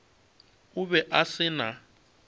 o be a se na